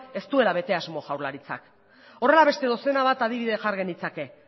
ez duela bete asmo jaurlaritzak horrela beste dozena bat adibidea jar genitzake